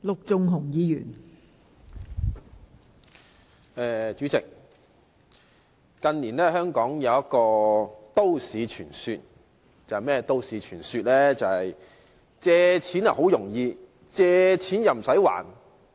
代理主席，近年香港有一個都市傳說，就是"借錢好容易"、"借錢唔駛還"。